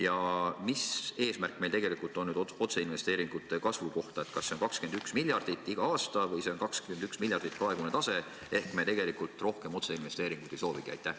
Ja mis eesmärk meil tegelikult on otseinvesteeringute kasvu osas: kas see on 21 miljardit igal aastal või see on 21 miljardit, praegune tase, ja me tegelikult rohkem otseinvesteeringuid ei soovigi?